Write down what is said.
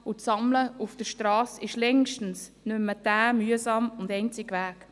Das Sammeln auf der Strasse ist längst nicht mehr der mühsame und einzige Weg.